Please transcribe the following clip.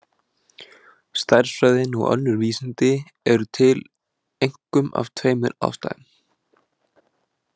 Stærðfræðin og önnur vísindi eru til einkum af tveimur ástæðum.